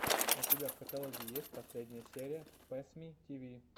у тебя в каталоге есть последняя серия пэссмитв